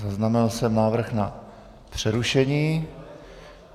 Zaznamenal jsem návrh na přerušení.